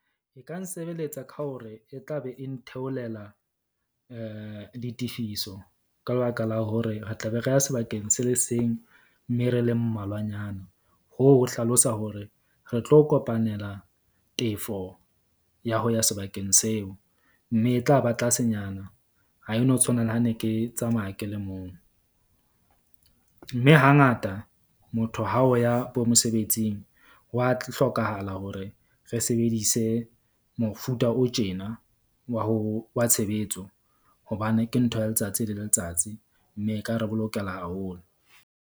E ka nsebeletsa ka hore e tla be e ntheolela ditefiso ka lebaka la hore re tla be re ya sebakeng se le seng. Mme re le mmalwanyana hoo, ho hlalosa hore re tlo kopanela tefo ya ho ya sebakeng seo. Mme e tla ba tlasenyana ha e no tshwana le ha ne ke tsamaya ke le mong. Mme hangata motho ha o ya bo mosebetsing. Hwa hlokahala hore re sebedise mofuta o tjena wa ho wa tshebetso hobane ke ntho ya letsatsi le letsatsi, mme e ka re bolokela haholo.